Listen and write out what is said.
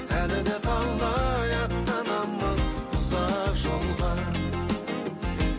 әлі де талай аттанамыз ұзақ жолға